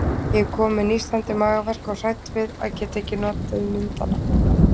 Ég er komin með nístandi magaverk og hrædd við að geta ekki notið myndanna.